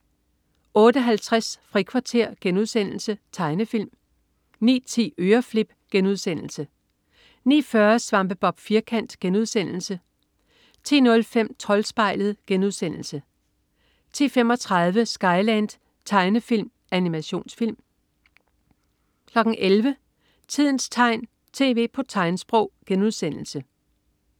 08.50 Frikvarter.* Tegnefilm 09.10 Øreflip* 09.40 Svampebob Firkant.* Tegnefilm 10.05 Troldspejlet* 10.35 Skyland.* Tegnefilm/Animationsfilm 11.00 Tidens tegn, tv på tegnsprog*